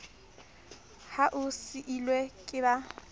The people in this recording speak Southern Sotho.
ha o seilwe ke ba